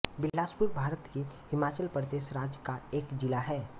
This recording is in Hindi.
बिलासपुर भारत के हिमाचल प्रदेश राज्य का एक ज़िला है